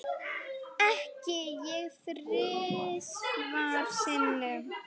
Ekki ég þrisvar sinnum.